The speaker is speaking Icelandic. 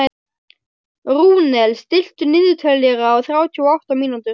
Rúnel, stilltu niðurteljara á þrjátíu og átta mínútur.